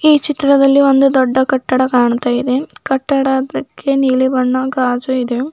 ಈ ಚಿತ್ರದಲ್ಲಿ ಒಂದು ದೊಡ್ಡ ಕಟ್ಟಡ ಕಾಣ್ತಾ ಇದೆ ಕಟ್ಟಡದಕ್ಕೆ ನೀಲಿ ಬಣ್ಣ ಗಾಜು ಇದೆ.